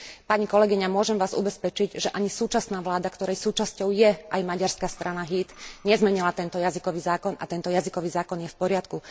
Pani kolegyňa, môžem Vás ubezpečiť, že ani súčasná vláda, ktorej súčasťou je aj maďarská strana Híd, nezmenila tento jazykový zákon a tento jazykový zákon je v poriadku.